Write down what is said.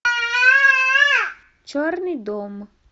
черный дом